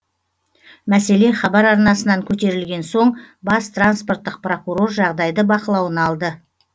мәселе хабар арнасынан көтерілген соң бас транспорттық прокурор жағдайды бақылауына алды